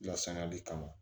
Lasaniya de kama